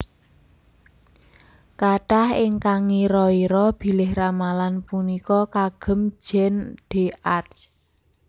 Kathah ingkang ngira ira bilih ramalan punika kagem Jeanne d Arc